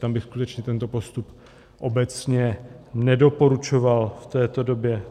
Tam bych skutečně tento postup obecně nedoporučoval v této době.